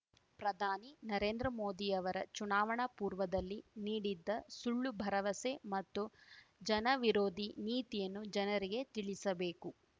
ಪ್ರಧಾನಿ ನರೇಂದ್ರ ಮೋದಿಯವರ ಚುನಾವಣಾ ಪೂರ್ವದಲ್ಲಿ ನೀಡಿದ ಸುಳ್ಳು ಭರವಸೆ ಮತ್ತು ಜನವಿರೋಧಿ ನೀತಿಯನ್ನು ಜನರಿಗೆ ತಿಳಿಸಬೇಕು